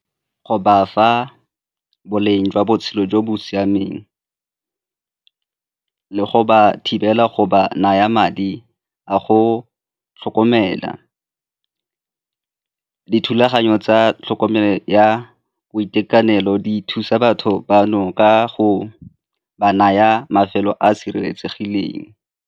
Go ba fa boleng jwa botshelo jo bo siameng le go ba thibela go ba naya madi a go tlhokomela. Dithulaganyo tsa tlhokomelo ya boitekanelo di thusa batho bano ka go ba naya mafelo a a sireletsegileng.